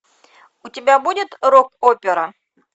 у тебя будет рок опера